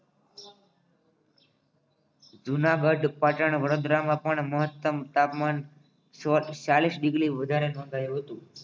જુનાગઢ પાટણ વડોદરામાં પણ મહત્તમ તાપમાન ચાલિસ ડિગ્રી વધારે નોંધાયો હતો